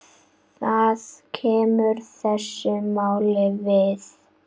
Það kemur þessu máli við.